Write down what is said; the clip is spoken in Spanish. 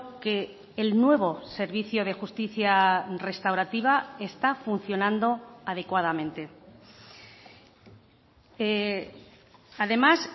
que el nuevo servicio de justicia restaurativa está funcionando adecuadamente además